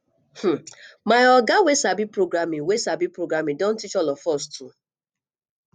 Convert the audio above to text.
um my oga wey sabi programming wey sabi programming don teach all of us too